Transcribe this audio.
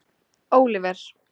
Oliver